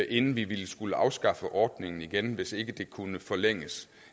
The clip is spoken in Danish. inden vi ville skulle afskaffe ordningen igen hvis ikke den kunne forlænges